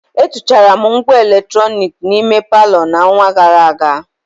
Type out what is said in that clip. Etuchara m ngwa eletrọnịkị n'ime palọ n'ọnwa gara aga.